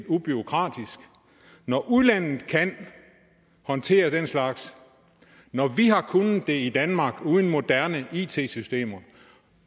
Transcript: ubureaukratisk når udlandet kan håndtere den slags og når vi har kunnet det i danmark uden moderne it systemer